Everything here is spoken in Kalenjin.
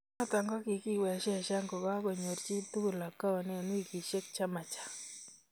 Noto kiiwezeshanani ko ka ko n yoor chii tugul account eng wikisiek che ma chaang